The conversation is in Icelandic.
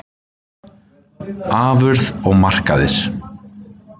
Afurð og markaðir